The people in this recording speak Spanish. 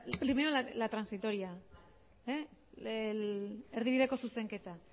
primero la transitoria erdibideko zuzenketa